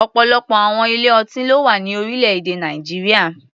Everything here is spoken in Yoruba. Ọ̀pọ̀lọpọ̀ àwọn ilé-ọtí ló wà ní orílẹ̀-èdè Nàìjíríà.